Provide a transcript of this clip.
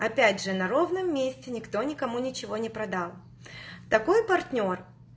опять же на ровном месте никто никому ничего не продал такой партнёр